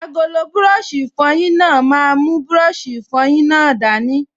Agolo búrọ̀sì ìfọyín náà máa mú búrọ̀sì ìfọyín náà dání